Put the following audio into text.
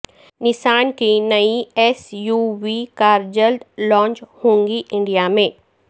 نسان کی نئی S U V car جلد لانچ ہوگی انڈیا میں